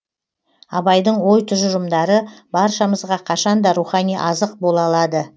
абайдың ой тұжырымдары баршамызға қашанда рухани азық бола алады